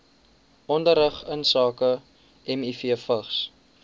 onderrig insake mivvigs